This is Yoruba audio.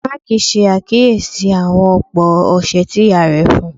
Mark ṣe akiyesi awopọ ọṣẹ ti iya rẹ fun u